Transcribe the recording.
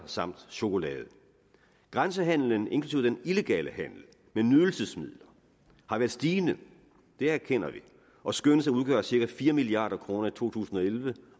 samt chokolade grænsehandelen inklusive den illegale handel med nydelsesmidler har været stigende det erkender vi og skønnes at udgøre cirka fire milliard kroner i to tusind og elleve